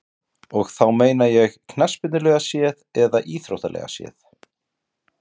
Og þá meina ég knattspyrnulega séð eða íþróttalega séð?